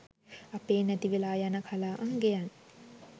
අපේ නැති වෙලා යන කලා අංගයන්